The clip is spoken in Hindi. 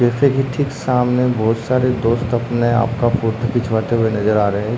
जसे कि ठीक सामने बहुत सारे दोस्त अपने आप का फोटो खिचवाते हुए नज़र आ रहें हैं।